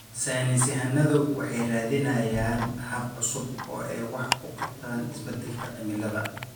Saynis yahanadu waxay raadinayaan habab cusub oo ay wax uga qabtaan isbedelka cimilada.